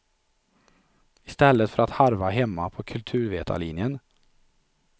I stället för att harva hemma på kulturvetarlinjen.